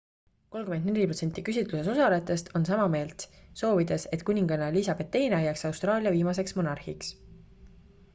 34 protsenti küsitluses osalejatest on sama meelt soovides et kuninganna elizabeth ii jääks austraalia viimaseks monarhiks